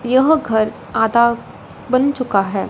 यह घर आधा बन चुका है।